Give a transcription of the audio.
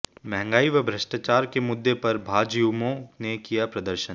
महंगाई व भ्रष्टाचार के मुद्दे पर भाजयुमो ने किया प्रदर्शन